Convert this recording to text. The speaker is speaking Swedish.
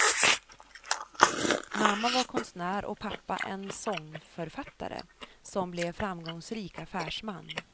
Mamma var konstnär och pappa en sångförfattare som blev framgångsrik affärsman.